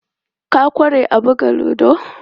Ka ƙware a buga ludo?